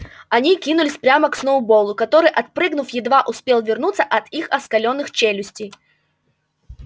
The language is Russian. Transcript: они кинулись прямо к сноуболлу который отпрыгнув едва успел увернуться от их оскаленных челюстей